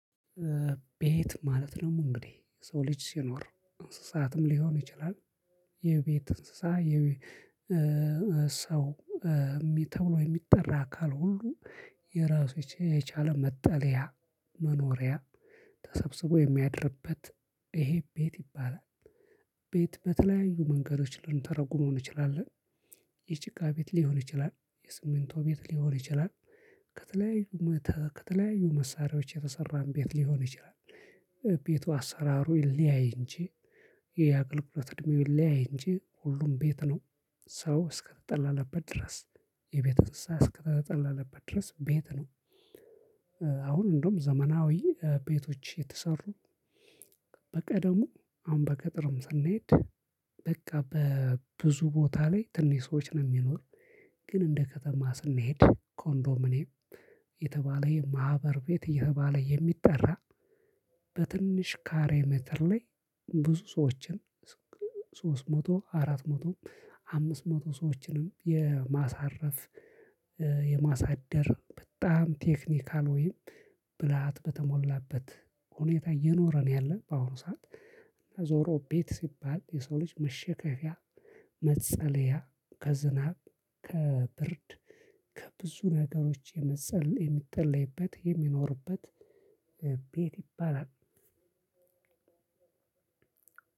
ቤት ማለት ነው እንግዲህ የሰው ልጅ ሲኖር እንስሳትም ሊሆን ይችላል የቤት እንስሳ የ ሰው ተብሎ የሚጠራ አካል ሁሉ የራሱን የቻለ መጠለያ መኖሪያ ተሰብስቦ የሚያድርበት ይሄ ቤት ይባላል ቤት በተለያዩ መንገዶች ልንተረጉመው እንችላለን። የጭቃ ቤት ሊሆን ይችላል የሲሚንቶ ቤት ሊሆን ይችላል ከተለያዩ ከተለያዩ መሳሪያዎች የተሰራም ቤት ሊሆን ይችላል። ቤቱ አሰራሩ ይለያይ እንጂ የአገልግሎት እድሜው ይለያይ እንጂ ሁሉም ቤት ነው። ሰው እስከተጠለለበት ድረስ የቤት እንስሳ እስከተጠለለበት ድረስ ቤት ነው። አሁን እንደውም ዘመናዊ ቤቶች የተሰሩ በቀደሙ አሁን በቅጥርም ሳንሄድ በቃ በብዙ ቦታ ላይ ትንሽ ሰዎች ነው የሚኖር። ግን እንደ ከተማ ስንሄድ ኮንዶሚንየም የተባለ የማህበር ቤት እየተባለ የሚጠራ በትንሽ ካሬ ሜትር ላይ ብዙ ሰዎችን ሶስት መቶ አራት መቶም አምስት መቶ ሰዎችንም የማሳረፍ የማሳደር በጣም ቴክኒካል ወይም ብልሃት በተሞላበት ሁኔታ እየኖረ ነው ያለን በአሁን ሰዓት። ዞሮ ቤት ሲባል የሰው ልጅ መሸከፊያ መፀለያ ከዝናብ ከብርድ ከብዙ ነገሮች የመጸል የሚጠለልበት የሚኖርበት ቤት ይባላል።